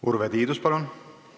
Urve Tiidus, palun!